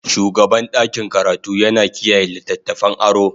shugaban ɗakin karatu yana kiyaye littattafan aro.